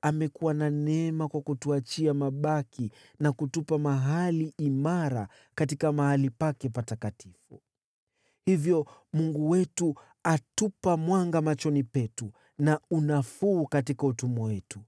amekuwa na neema kwa kutuachia mabaki na kutupa mahali imara katika mahali pake patakatifu, hivyo Mungu wetu atupa mwanga machoni petu na unafuu katika utumwa wetu.